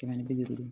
Kɛmɛ ni bi duuru